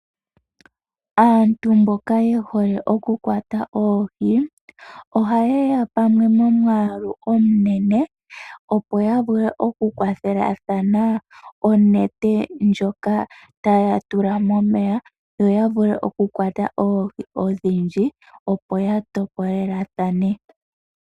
Aantu mboka ye hole oku kwata oohi, ohayeya pamwe momwaalu omunene, opo ya vule oku kwathelathana onete ndjoka, taya tula momeya yo yavule okukwata oohi odhindji opo ya topolelathane.